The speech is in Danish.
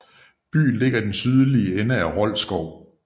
Byen ligger i den sydlige ende af Rold Skov